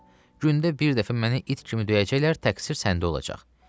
Hə, gündə bir dəfə məni it kimi döyəcəklər, təqsir səndə olacaq.